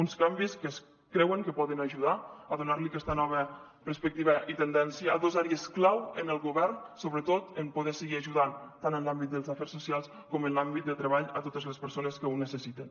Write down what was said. uns canvis que es creu que poden ajudar a donar aquesta nova perspectiva i tendència a dos àrees clau en el govern sobretot en poder seguir ajudant tant en l’àmbit dels afers socials com en l’àmbit de treball a totes les persones que ho necessiten